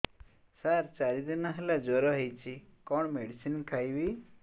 ସାର ଚାରି ଦିନ ହେଲା ଜ୍ଵର ହେଇଚି କଣ ମେଡିସିନ ଖାଇବି